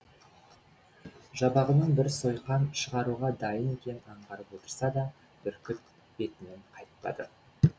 жабағының бір сойқан шығаруға дайын екенін аңғарып отырса да бүркіт бетінен қайтпады